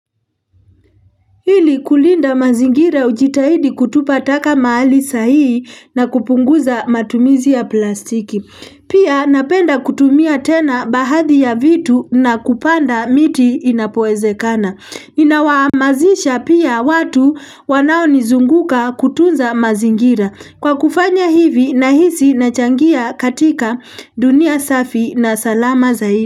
Ili kulinda mazingira ujitahidi kutupa taka mahali sahihi na kupunguza matumizi ya plastiki Pia napenda kutumia tena baadhi ya vitu na kupanda miti inapowezekana Inawahamasisha pia watu wanaonizunguka kutunza mazingira Kwa kufanya hivi nahisi nachangia katika dunia safi na salama zaidi.